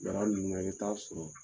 Baara ninnu na i bi t'a sɔrɔ